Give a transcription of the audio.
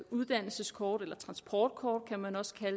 uddannelseskort eller transportkort som man også kan